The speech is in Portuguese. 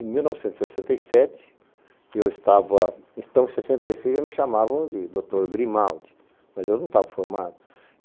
Em mil novecentos e sessenta e sete, eu estava... em mil novecentos e sessenta e seis já me chamavam de doutor Grimaldi, mas eu não estava formado.